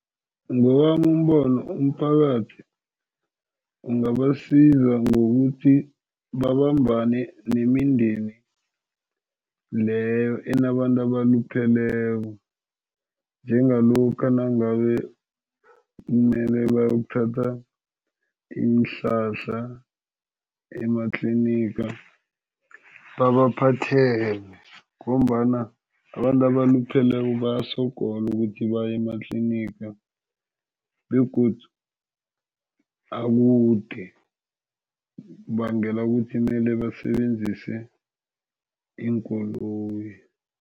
Ngowami umbono umphakathi ungabasiza ngokuthi babambane nemindeni leyo enabantu abalupheleko, njengalokha nangabe kumele bayokuthatha iinhlahla ematliniga, babaphathele ngombana abantu abalupheleko bayasogola ukuthi baye ematliniga begodu akude, kubangela ukuthi kumele basebenzise iinkoloyi.